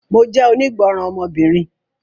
Mo jẹ́ onígbọ́ràn ọmọbìnrin